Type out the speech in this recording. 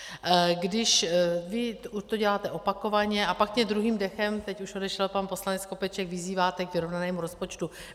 Když vy to děláte opakovaně, a pak mě druhým dechem - teď už odešel pan poslanec Skopeček - vyzýváte k vyrovnanému rozpočtu.